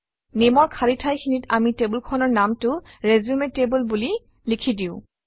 Name অৰ খালী ঠাইখিনিত আমি টেবুলখনৰ নামটো ৰিচিউম টেবল বুলি লিখি দিওঁ